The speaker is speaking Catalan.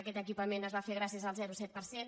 aquest equipament es va fer gràcies al zero coma set per cent